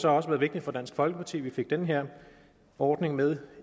også været vigtigt for dansk folkeparti at vi fik den her ordning med